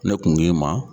Ne kun ma